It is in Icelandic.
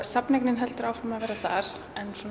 safnaeignin heldur áfram að vera þar